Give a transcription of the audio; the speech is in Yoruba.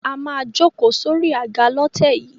A máa jókòó sórí àga lọ́tẹ̀ yìí.